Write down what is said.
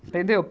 Entendeu?